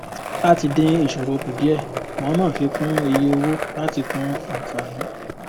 láti dín ìṣòro kù díẹ mọọmọ fi kún iye owó láti kún ànfàní